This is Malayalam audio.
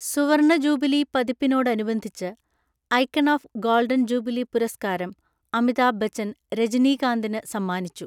സുവര്‍ണ ജൂബിലി പതിപ്പിനോടനുബന്ധിച്ച് ഐക്കണ് ഏഫ് ഗോള്ഡന്‍ ജൂബിലി പുരസ്കാരം അമിതാഭ് ബച്ചന്‍ രജനീകാന്തിന് സമ്മാനിച്ചു.